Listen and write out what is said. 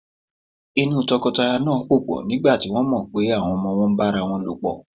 Inú tọkọtaya náà pòpọ̀ nígbà tí wọ́n mọ̀ pé àwọn ọmọ wọn ń bá ara lòpọ̀.